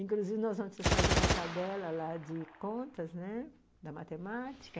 Inclusive nós vamos fazer a tabela de contas, né, da matemática.